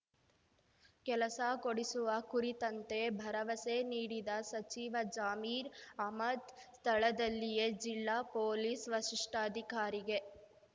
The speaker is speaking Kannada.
ಕೆಲಸ ಕೊಡಿಸುವ ಕುರಿತಂತೆ ಭರವಸೆ ನೀಡಿದ ಸಚಿವ ಜಮೀರ್ ಅಹ್ಮದ್ ಸ್ಥಳದಲ್ಲಿಯೇ ಜಿಲ್ಲಾ ಪೊಲೀಸ್ ವಷಿಷ್ಠಾಧಿಕಾರಿಗೆ